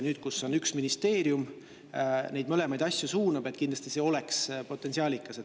Nüüd, kui on üks ministeerium, kes neid mõlemaid asju suunab, on see kindlasti potentsiaalikas.